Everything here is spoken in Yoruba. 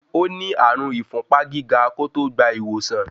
Ó ní ààrùn n ìfúnpá gíga kó tó gbà ìwòsàn.